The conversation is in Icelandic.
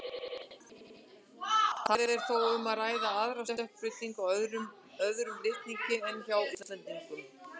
Þar er þó um að ræða aðra stökkbreytingu á öðrum litningi en hjá Íslendingum.